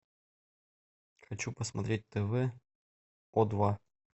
хочу посмотреть тв о два